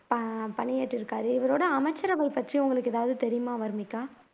உம் ப பணியேற்று இருக்கிறார் இவரோட அமைச்சர்கள் பற்றி உங்களுக்கு ஏதாவது தெரியுமா வர்னிகா